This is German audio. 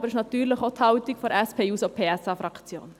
Es ist natürlich auch die Meinung der SP-JUSO-PSA-Fraktion.